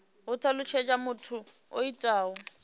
ho talutshedzwa muthu o itaho